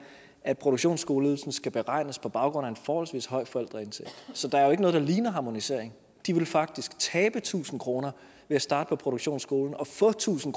at produktionsskoleydelsen skal beregnes på baggrund af en forholdsvis høj forældreindtægt så der er jo ikke noget der ligner harmonisering de ville faktisk tabe tusind kroner ved at starte på en produktionsskole og få tusind